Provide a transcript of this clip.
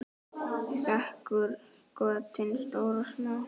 Þekur götin stór og smá.